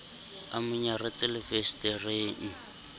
a mo nyaretse le fensetereng